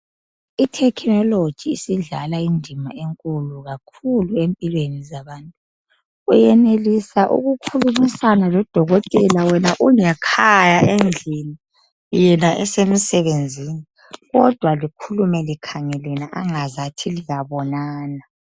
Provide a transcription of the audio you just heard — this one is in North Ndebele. I"technology " isidlala indima enkulu kakhulu empilweni zabantu .Uyenelisa ukukhulumisana lodokotela wena ungekhaya endlini yena esemsebenzini, kodwa likhulume likhangelene angazathi liyabonana.